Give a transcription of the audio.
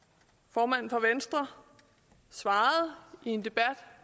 formanden for venstre svarede i en debat